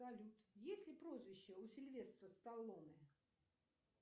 салют есть ли прозвище у сильвестра сталлоне